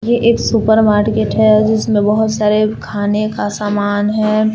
ये एक supermarket है जिसमें बहोत सारे खाने का समान है।